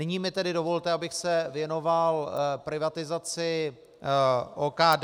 Nyní mi tedy dovolte, abych se věnoval privatizaci OKD.